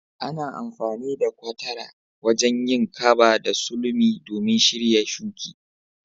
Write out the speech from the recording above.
Ana amfani da gwatara wajen yin kaba da sulumi domin shirya shuki.